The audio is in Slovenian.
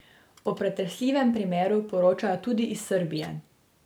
O pretresljivem primeru poročajo tudi iz Srbije.